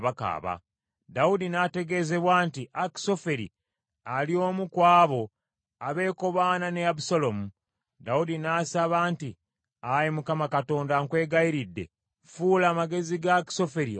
Dawudi n’ategeezebwa nti, “Akisoferi ali omu ku abo abeekobaana ne Abusaalomu.” Dawudi n’asaba nti, “Ayi Mukama Katonda nkwegayiridde, fuula amagezi ga Akisoferi obusirusiru.”